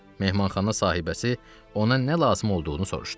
Mehmanxana sahibəsi ona nə lazım olduğunu soruşdu.